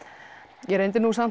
ég reyndi nú samt